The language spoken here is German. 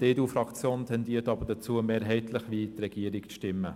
Die EDU-Fraktion tendiert aber eher dazu, mehrheitlich wie die Regierung abzustimmen.